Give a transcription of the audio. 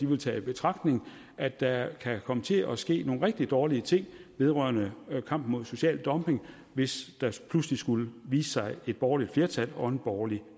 vil tage i betragtning at der kan komme til at ske nogle rigtig dårlige ting vedrørende kampen mod social dumping hvis der pludselig skulle vise sig et borgerligt flertal og en borgerlig